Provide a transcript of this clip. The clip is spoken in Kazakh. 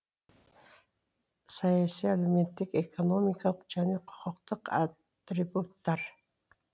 саяси әлеуметтік экономикалық және құқықтық атрибуттар